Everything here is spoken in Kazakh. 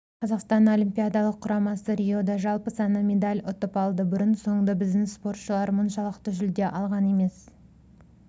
қазақстан олимпиадалық құрамасы риода жалпы саны медаль ұтып алды бұрын-соңды біздің спортшылар мұншалықты жүлде алған емес